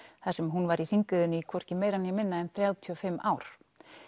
þar sem hún var í hringiðunni í hvorki meira né minna en þrjátíu og fimm ár